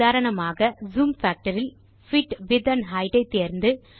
உதாரணமாக zoom factor ல் fit width and height ஐ தேர்ந்து